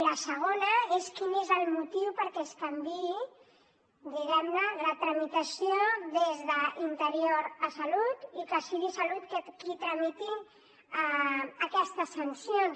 la segona és quin és el motiu perquè es canviï diguem ne la tramitació des d’interior a salut i que sigui salut qui tramiti aquestes sancions